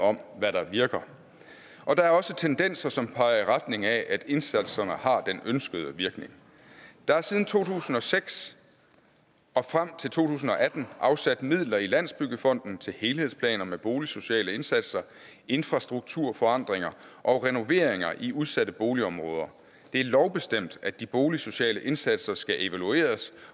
om hvad der virker og der er også tendenser som peger i retning af at indsatserne har den ønskede virkning der er siden to tusind og seks og frem til to tusind og atten afsat midler i landsbyggefonden til helhedsplaner med boligsociale indsatser infrastrukturforandringer og renoveringer i udsatte boligområder det er lovbestemt at de boligsociale indsatser skal evalueres